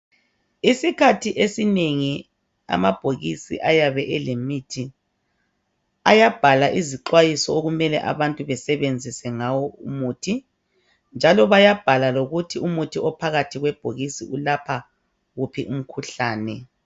Isikhathi esinengi amabhokisi ayabe elemithi ayabhalwa izixwayiso okumele abantu besebenzise ngawo umuthi njalo bayabhala lokuthi umuthi ophakathi kwebhokisi ulapha wuphi umkhuhlane